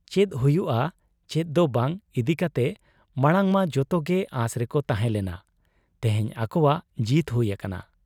ᱪᱮᱫ ᱦᱩᱭᱩᱜ ᱟ ᱪᱮᱫ ᱫᱚ ᱵᱟᱝ ᱤᱫᱤᱠᱟᱛᱮ ᱢᱟᱬᱟᱝᱢᱟ ᱡᱚᱛᱚᱜᱮ ᱚᱟᱸᱥ ᱨᱮᱠᱚ ᱛᱟᱦᱮᱸ ᱞᱮᱱᱟ, ᱛᱮᱦᱮᱧ ᱟᱠᱚᱣᱟᱜ ᱡᱤᱛ ᱦᱩᱭ ᱟᱠᱟᱱᱟ